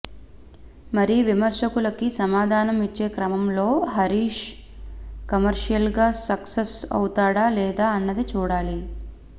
మరి విమర్శకులకి సమాధానం ఇచ్చే క్రమంలో హరీష్ కమర్షియల్గా సక్సెస్ అవుతాడా లేదా అన్నది చూడాలి